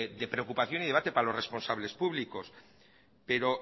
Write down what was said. de preocupación y de debate para los responsables públicos pero